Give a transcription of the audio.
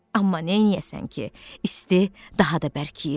Amma neyləyəsən ki, isti daha da bərkiyirdi.